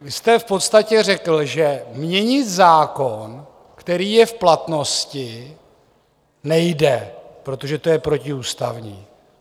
Vy jste v podstatě řekl, že měnit zákon, který je v platnosti, nejde, protože to je protiústavní.